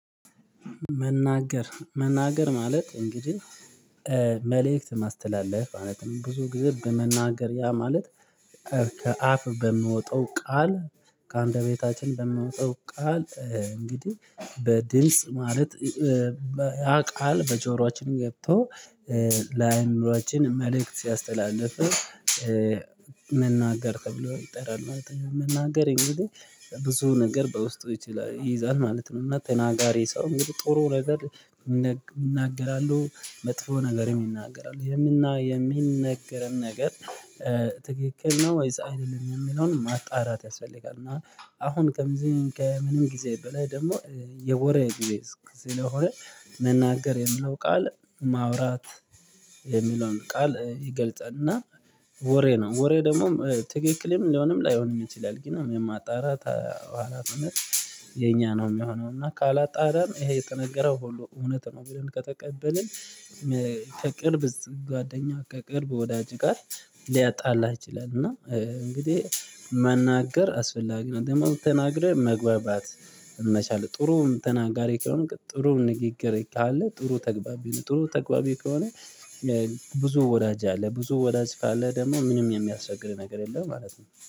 መናገር ማለት እንግዲህ መልእክት ማስተላለፍ ማለት ነው ብዙ ግዜ በመናገርያ ማለት ከአፍ በምወጣው ቃል ከአንደቤታችን በምወጣው ቃል እንግዲህ በድምጽ ማለት ያ ቃል በጆሮአችን ገብቶ ላይኖራችን መልእክት ሲያስተላልፍ መናገር ተብሎ ይጠራል ማለት ነው። መናገር እንግዲህ ብዙ ነገር በውስጡ ይይዛል ማለት ነው። እና ተናጋሪ ሰው እንግዲህ ጥሩ ነገር ይናገራሉ መጥፎ ነገር ይናገራሉ የምና የሚነገረን ነገር ትክክል ነው ወይስ አይደለም የሚለውን ማጣራት ያስፈልጋል። እና አሁን ከምዝን ከምንም ጊዜ በላይ ደግሞ የወሬ ጊዜ ስለሆነ መናገር የሚለው ቃል ማውራት የሚለውን ቃል ይገልጸ እና ወሬ ነው። ወሬ ደግሞ ትክክልም ሊሆንም ላይሆንም ይችላል ግን የማጣራት ሀላፊነት የኛ ነው። ሚሆነው እና ካላጣራን ይሄ የተነገረው ሁሉ እውነት ነው ብለን ከተቀበልን ከቅርብ ጓደኛ ከቅርብ ወዳጅ ጋር ሊያጣላህ ይችላል። እና እንግዲህ መናገር አስፈላጊ ነው። ደግሞ ተናግረህ መግባባት መቻል ጥሩም ተናጋሪ ከሆነ ጥሩም ንግግር ካለ ጥሩ ተግባቢ ነህ። ጥሩ ተግባቢ ከሆነ ብዙ ወዳጅ አለ ብዙ ወዳጅ ካአለህ ደግሞ ምንም የሚያስቸግር ነገር የለም ማለት ነው